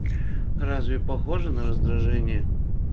разве похоже на раздражение